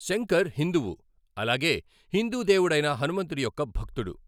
శంకర్ హిందువు, అలాగే హిందూ దేవుడైన హనుమంతుడి యొక్క భక్తుడు.